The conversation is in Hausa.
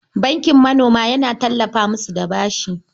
Bankin manoma yana tallafa musu da bashi.